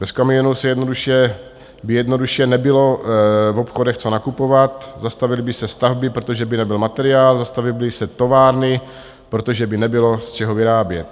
Bez kamionů by jednoduše nebylo v obchodech co nakupovat, zastavily by se stavby, protože by nebyl materiál, zastavily by se továrny, protože by nebylo z čeho vyrábět.